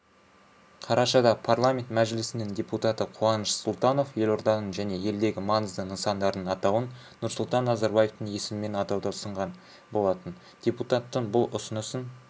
қарашада парламент мәжілісінің депутаты қуаныш сұлтанов елорданың және елдегі маңызды нысандардың атауын нұрсұлтан назарбаевтың есімімен атауды ұсынған болатын депутаттың бұл ұсынысын